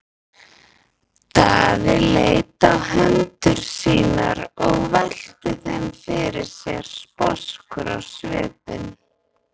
Daði leit á hendur sínar og velti þeim fyrir sér sposkur á svipinn.